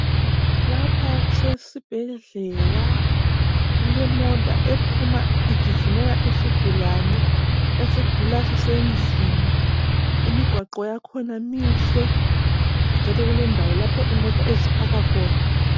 Lapha kusesibhedlela kulemota ephuma igijimela isigulane esigula sisendlini imigwaqo yakhona mihle njalo kulendawo lapho imota eziphaka khona.